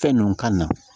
Fɛn ninnu ka na